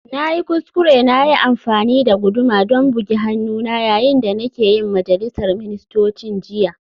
Na yi kuskure na yi amfani da guduma don bugi hannuna yayin da nake yin majalisar ministocin jiya